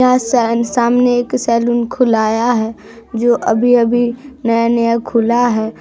यह स-सामने एक सलून खुलाया है जो अभी-अभी नया-नया खुला है।